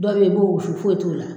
Dɔ be ye i b'o wusu foye t'o la